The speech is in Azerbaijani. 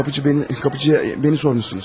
Qapıçı bəni, qapıçıya məni sormuşsunuz.